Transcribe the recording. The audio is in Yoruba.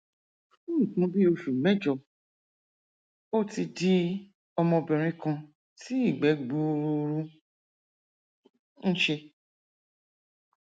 fún nǹkan bí oṣù mẹjọ ó ti di ọmọbìnrin kan tí ìgbẹ gbuuru ń ṣe